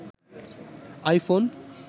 iPhone